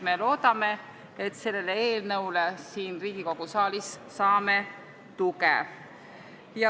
Me loodame, et saame sellele eelnõule siin Riigikogu saalis tuge.